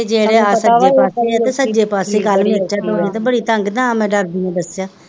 ਜੇੜੀ ਆ ਸਾਜੇ ਪਾਸੇ ਆ ਤੇ ਸਜੇ ਪਾਸੇ ਤੇ ਬੜੀ ਤੰਗ ਤਾਂ ਮੈ ਡਰਦੀ ਨੇ ਦੱਸਿਆ,